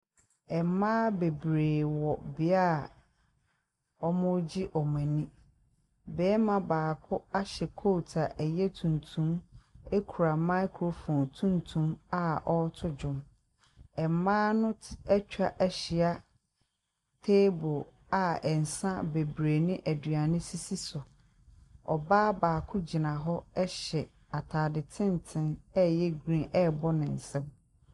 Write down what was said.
Mmaa bebere wɔ beae a ɔmo gye ɔmo ani. Bɛrima baako ahyɛ kot a ɛyɛ tuntum akura maekrofon tuntum a ɔto nwom. Mmaa no ɛtwa ahyia teebol a nsa bebree ne aduane sisi so. Ɔbaa baako gyina hɔ ɛhyɛ ataade tenten a ɛyɛ griin ɛbɔ ne nsam.